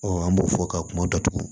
an b'o fɔ ka kuma datugu